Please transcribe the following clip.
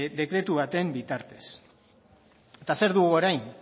dekretu baten bitartez eta zer dugu orain